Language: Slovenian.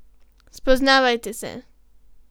Spoznavajte se.